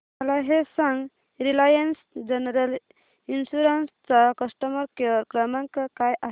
मला हे सांग रिलायन्स जनरल इन्शुरंस चा कस्टमर केअर क्रमांक काय आहे